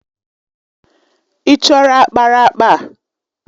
Ị chọrọ ákpáraàkpà?